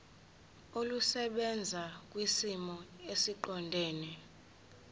olusebenza kwisimo esiqondena